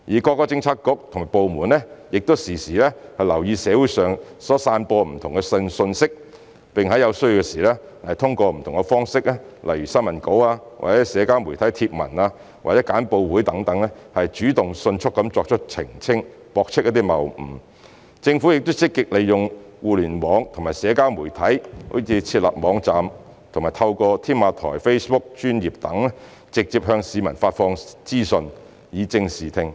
各政策局及部門亦時常留意社會上所散播的不同信息，並在有需要時通過不同方式，例如新聞稿、社交媒體貼文或簡報會等，主動迅速作出澄清、駁斥謬誤；政府亦積極利用互聯網和社交媒體，如設立網站和透過"添馬台 "Facebook 專頁等，直接向市民發放資訊，以正視聽。